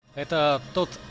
это тот